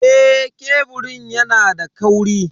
Eh, keburin yana da kauri.